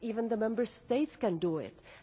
Not even the Member States can do that.